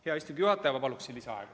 Hea istungi juhataja, ma palun lisaaega.